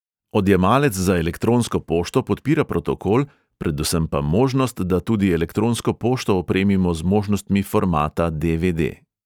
Odjemalec za elektronsko pošto podpira protokol, predvsem pa možnost, da tudi elektronsko pošto opremimo z možnostmi formata de|ve|de.